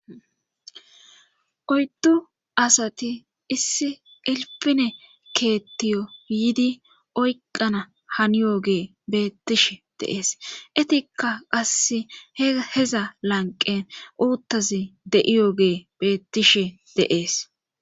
oyddu asati issi ilpine keettiyo iidi oyqana haniyoge beettish deees etikka qasse heza lanqen uuttazi de7iyoge beettishe deees.